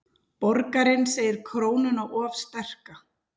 Borgarinn segir krónuna of sterka